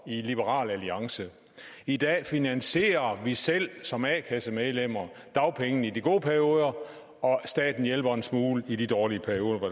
i liberal alliance i dag finansierer vi selv som a kassemedlemmer dagpengene i de gode perioder og staten hjælper en smule i de dårlige perioder hvor